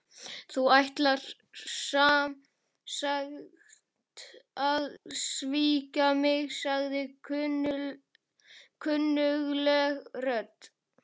Þú ætlar sem sagt að svíkja mig- sagði kunnugleg rödd.